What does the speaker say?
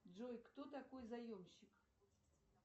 джой кто такой заемщик